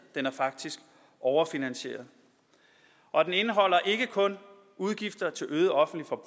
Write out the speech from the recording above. den er faktisk overfinansieret og den indeholder ikke kun udgifter til øget offentligt